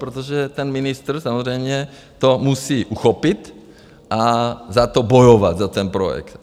Protože ten ministr samozřejmě to musí uchopit a za to bojovat, za ten projekt.